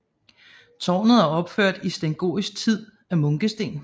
Tårnet er opført i sengotisk tid af munkesten